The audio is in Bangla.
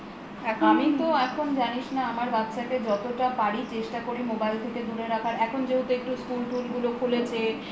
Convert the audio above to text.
আমি তো এখন জানিস না আমার বাচ্ছাকে যতটা পারি চেষ্টা করি mobile থেকে দুরে রাখার এখন যেহেতু একটু স্কুল টুল গুলো খুলেছে